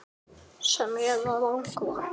Hvað sagði þetta hrun okkur?